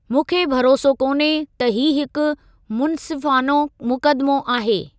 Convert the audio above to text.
मूंखे भरोसो कोन्हे त ही हिकु मुन्सिफ़ानो मुक़दमो आहे।